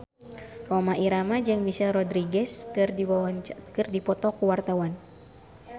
Rhoma Irama jeung Michelle Rodriguez keur dipoto ku wartawan